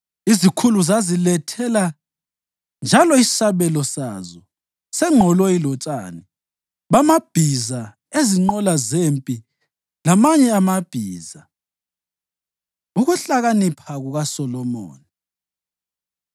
Izikhulu zaziletha njalo isabelo sazo sengqoloyi lotshani bamabhiza ezinqola zempi lamanye amabhiza. Ukuhlakanipha KukaSolomoni